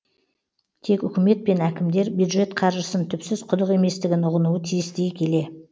тек үкімет пен әкімдер бюджет қаржысын түпсіз құдық еместігін ұғынуы тиіс дей келе